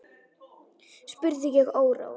spurði ég órór.